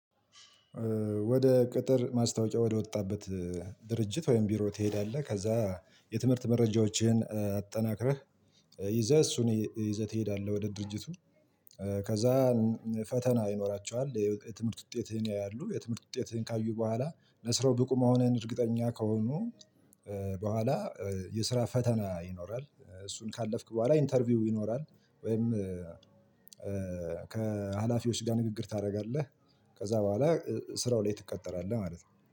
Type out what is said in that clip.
ወደ ቅጥር ማስታወቂያ ወደ ወጣበት ድርጅት ወይም ቢሮ ትሄዳለህ። ከዛ የትምህርት መረጃዎችህን አጠናክረህ ይዘህ እሱን ይዘህ ትሄዳለህ ወደ ድርጅቱ ከዛ ፈተና ይኖራቸዋል። የትምህርት ውጤትህን ያያሉ። የትምህርት ውጤትህን ካዩ በኋላ ለስራው ብቁ መሆንህን እርግጠኛ ከሆኑ በኋላ የስራ ፈተና ይኖራል። እሱን ካለፍክ በኋላ ኢንተርቪው ይኖራል። ወይም ከሀላፊዎች ጋር ንግግር ታደርጋለህ ከዛ በኋላ ስራው ላይ ትቀጠራለህ ማለት ነው